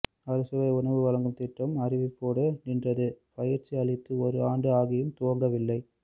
அறுசுவை உணவு வழங்கும்திட்டம் அறிவிப்போடு நின்றது பயிற்சி அளித்து ஒரு ஆண்டு ஆகியும் துவங்கவில்லை